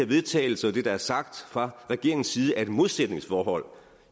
vedtagelse og det der er sagt fra regeringens side er et modsætningsforhold